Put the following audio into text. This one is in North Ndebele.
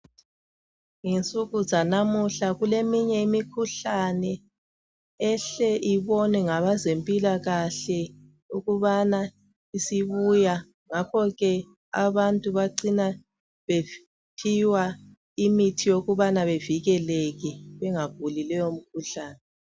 Ngensuku zanamuhla kuleminye imikhuhlane ehle ibonwe ngabezempilakahle ukubana isibuya ngakhoke abantu bacina bephiwa imithi yokubana bevikeleke bengaguli leyo mkhuhlane.